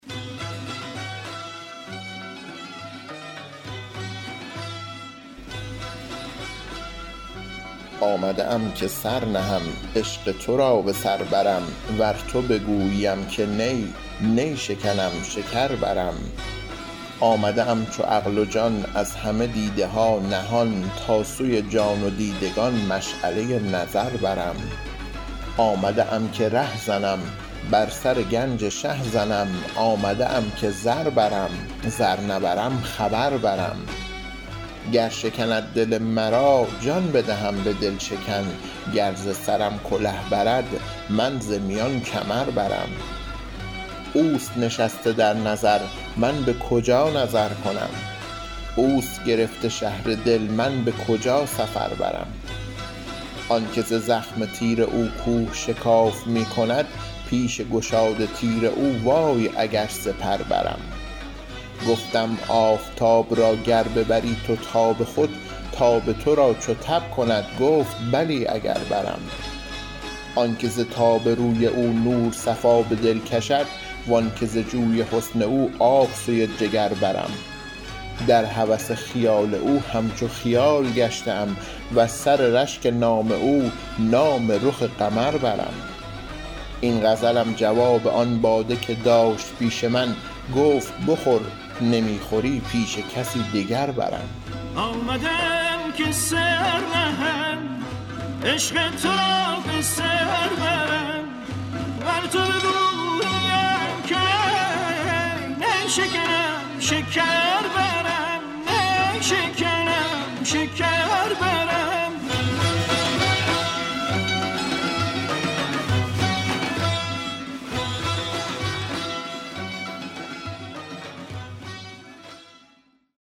آمده ام که سر نهم عشق تو را به سر برم ور تو بگوییم که نی نی شکنم شکر برم آمده ام چو عقل و جان از همه دیده ها نهان تا سوی جان و دیدگان مشعله نظر برم آمده ام که ره زنم بر سر گنج شه زنم آمده ام که زر برم زر نبرم خبر برم گر شکند دل مرا جان بدهم به دل شکن گر ز سرم کله برد من ز میان کمر برم اوست نشسته در نظر من به کجا نظر کنم اوست گرفته شهر دل من به کجا سفر برم آنک ز زخم تیر او کوه شکاف می کند پیش گشاد تیر او وای اگر سپر برم گفتم آفتاب را گر ببری تو تاب خود تاب تو را چو تب کند گفت بلی اگر برم آنک ز تاب روی او نور صفا به دل کشد و آنک ز جوی حسن او آب سوی جگر برم در هوس خیال او همچو خیال گشته ام وز سر رشک نام او نام رخ قمر برم این غزلم جواب آن باده که داشت پیش من گفت بخور نمی خوری پیش کسی دگر برم